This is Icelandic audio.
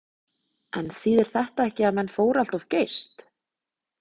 En þýðir þetta ekki að menn fóru allt of geyst?